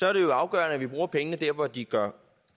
er det jo afgørende at vi bruger pengene der hvor de gør